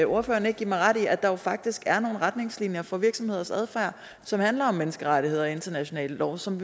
ordføreren ikke give mig ret i at der jo faktisk er nogle retningslinjer for virksomheders adfærd som handler om menneskerettigheder og international lov som